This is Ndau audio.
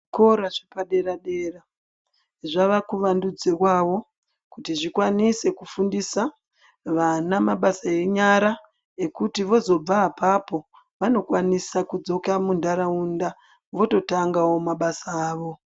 Zvikora zvepa dera dera zvava kuwandudzirwawo kuti zvikwanise kufundisa vana mabasa enyara ekuti vozobva apapo vanokwanisa kudzoka muntaraunda vototangawo mabasa avo .